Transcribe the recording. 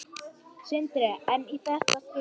Sindri: En í þetta skipti?